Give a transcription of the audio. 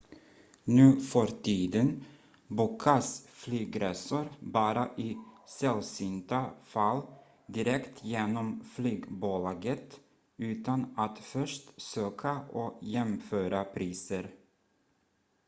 nuförtiden bokas flygresor bara i sällsynta fall direkt genom flygbolaget utan att först söka och jämföra priser